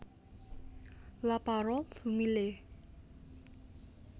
La Parole humiliée